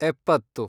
ಎಪ್ಪತ್ತು